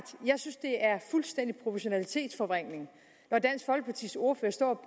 jeg synes at det er fuldstændig proportionalitetsforvrængning når dansk folkepartis ordfører står